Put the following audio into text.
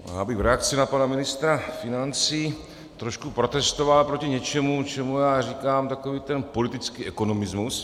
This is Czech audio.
Já bych v reakci na pana ministra financí trošku protestoval proti něčemu, čemu já říkám takový ten politický ekonomismus.